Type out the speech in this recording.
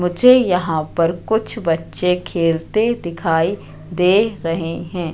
मुझे यहाँ पर कुछ बच्चे खेलते दिखाइ दे रहे है।